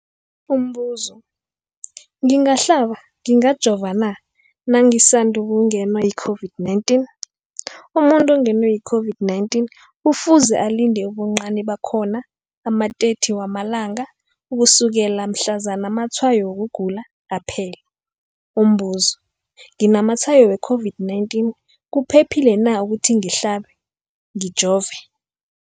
Umbuzo, ngingahlaba, ngingajova na nangisandu kungenwa yi-COVID-19? Umuntu ongenwe yi-COVID-19 kufuze alinde ubuncani bakhona ama-30 wama langa ukusukela mhlazana amatshayo wokugula aphela. Umbuzo, nginamatshayo we-COVID-19, kuphephile na ukuthi ngihlabe, ngijove?